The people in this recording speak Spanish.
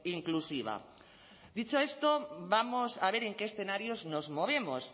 inclusiva dicho esto vamos a ver en qué escenarios nos movemos